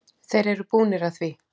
Þeir eru búnir að því.